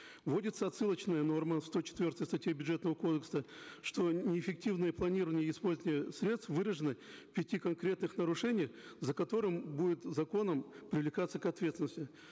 вводится отсылочная норма в сто четвертой статье бюджетного кодекса что неэффективное планирование и использование средств выражены в пяти конкретных нарушениях за которые будет законом привлекаться к ответственности